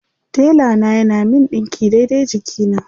Tela na yana min ɗinki daidai jikina.